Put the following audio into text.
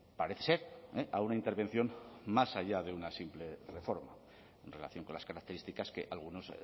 parece ser a una intervención más allá de una simple reforma en relación con las características que algunos